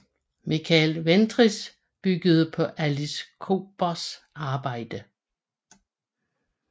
Michael Ventris byggede på Alice Kobers arbejde